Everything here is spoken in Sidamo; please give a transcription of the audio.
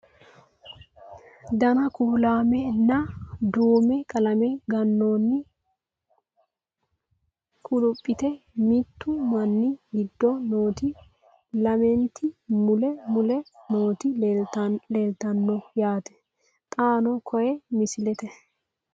Danna kuulaamme nna duumme qalame ganoonni kulipiitte mittu minni giddo nootti lamenti mule mule nootti leelittanno yaatte xaanno koye misilette